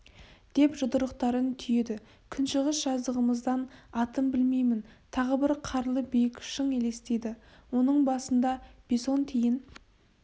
деп жұдырықтарын түйеді күншығыс жағымыздан атын білмеймін тағы бір қарлы биік шың елестейді оның басында бесонтиін